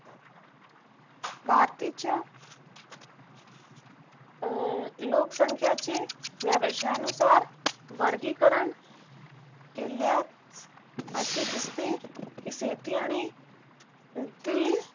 भारताच्या अं लोकसंख्याचे व्यवजनकार वर्गीकरण केल्यास असे दिसते कि शेती आणि खूप काही